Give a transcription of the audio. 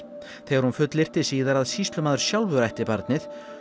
þegar hún fulllyrti að sýslumaður sjálfur ætti barnið